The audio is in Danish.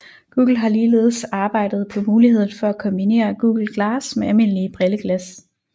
Google har ligeledes arbejdet på muligheden for at kombinere Google Glass med almindelige brilleglas